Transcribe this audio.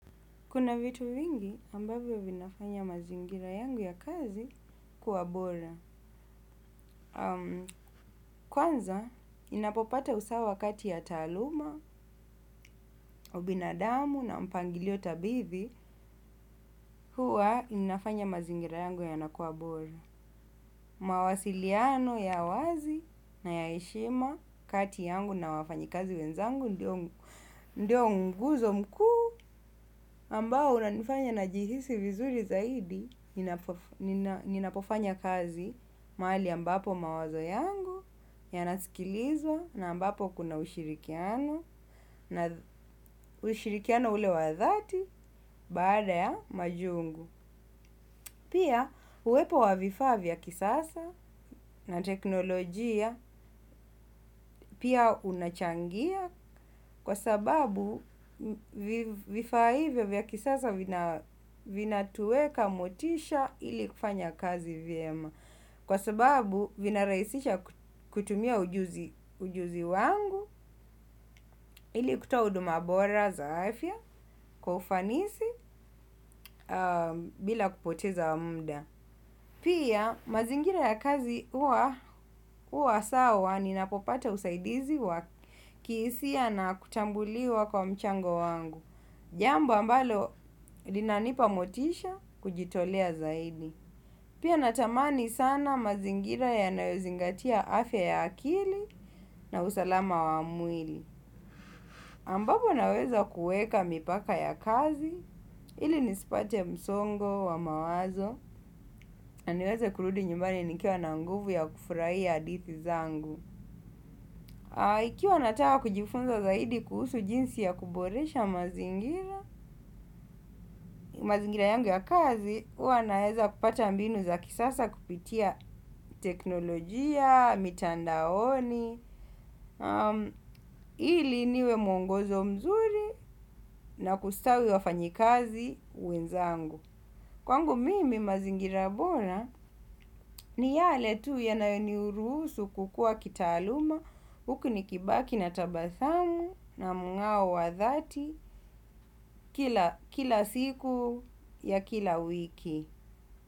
Kuna vitu vingi ambavyo vinafanya mazingira yangu ya kazi kuwabora. Kwanza ninapopata usawa kati ya taluma, ubinadamu na mpangilio tabithi huwa inafanya mazingira yangu ya nakuwabora. Mawasiliano ya wazi na ya eshima kati yangu na wafanyi kazi wenzangu ndio nguzo mkuu. Ambao unanifanya na jihisi vizuri zaidi, ninapofanya kazi maali ambapo mawazo yangu, yanasikilizwa, na ambapo kuna ushirikiano, na ushirikiano ule wadhati, baada ya majungu. Pia uwepo wavifaa vya kisasa na teknolojia pia unachangia kwa sababu vifaa hivyo vya kisasa vina tuweka motisha ili kufanya kazi vyema. Kwa sababu vina raisisha kutumia ujuzi wangu ili kutoa uduma bora zaafia kwa ufanisi bila kupoteza mda. Pia mazingira ya kazi huwa sawa ninapopata usaidizi wa kihisia na kutambuliwa kwa mchango wangu. Jambo ambalo linanipa motisha kujitolea zaidi. Pia natamani sana mazingira ya nawezingatia afya ya akili na usalama wa mwili. Ambabo naweza kueka mipaka ya kazi ili nispate msongo wa mawazo niweza kuludi nyumbani nikiwa na nguvu ya kufurai ya adithi zangu. Ikiwa natawa kujifunza zaidi kuhusu jinsi ya kuboresha mazingira mazingira yangu ya kazi uwa naweza kupata mbinu za kisasa kupitia teknolojia, mitandaoni. Ili niwe mongozo mzuri na kustawi wafanyikazi we nzangu. Kwangu mimi mazingira bora ni yale tu yanayo niruhusu kukua kitaaluma huku ni kibaki na tabasamu na mng'ao wa dhati kila siku ya kila wiki.